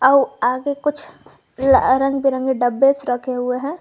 आगे कुछ रंग बिरंगे डब्बे रखे हुए हैं।